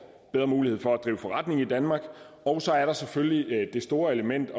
bedre mulighed for at drive forretning i danmark og så er der selvfølgelig det store element